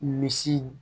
Misi